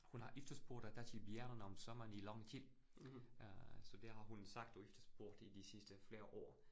Hun har efterspurgt rigtige bjergene om sommeren i lang tid, øh så det har hun sagt og efterspurgt i de sidste flere år